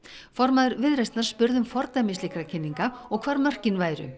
formaður Viðreisnar spurði um fordæmi slíkra kynninga hvar mörkin væru